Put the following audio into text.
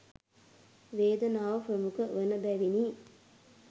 වේදනාව ප්‍රමුඛ වන බැවිනි.